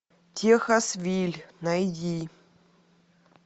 техас виль найди